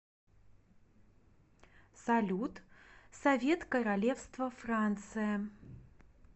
салют совет королевство франция